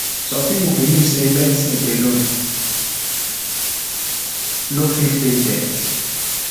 some people believe say say medicine alone nor fit heal dem